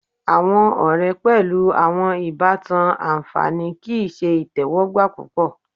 Awọn ọrẹ pẹlu awọn ibatan anfani kii ṣe itẹwọgba pupọ